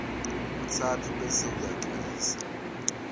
katsatfu bese uyagcwalisa